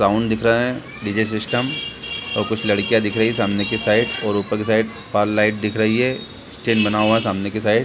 Sound दिख रहा है डी.जे. सिस्टम और कुछ लड़कियां दिख रही हैं सामने की साइड और ऊपर की साइड पर्ल लाइट दिख रही है स्टैंड बना हुआ है सामने के साइड ।